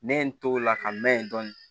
Ne ye n to la ka n mɛn dɔn